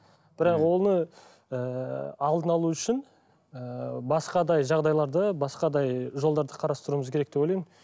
бірақ оны ыыы алдын алу үшін ыыы басқадай жағдайларды басқадай жолдарды қарастыруымыз керек деп ойлаймын